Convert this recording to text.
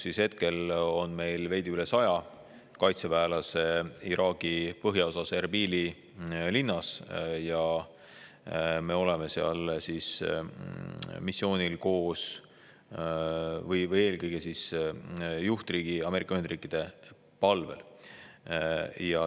Meil on veidi üle 100 kaitseväelase Iraagi põhjaosas Erbili linnas ja me oleme sellel missioonil juhtriigi Ameerika Ühendriikide palvel.